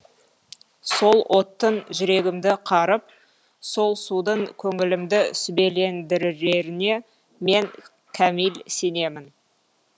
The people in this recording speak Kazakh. сол оттың жүрегімді қарып сол судың көңілімді сүбелендіреріне мен кәміл сенемін